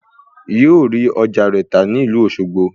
Yóò rí ọjà rẹ̀ tà ní ìlú Òṣogbo